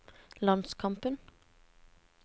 landskampen